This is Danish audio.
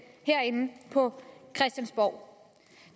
herinde på christiansborg